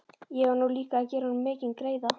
Ég var nú líka að gera honum mikinn greiða.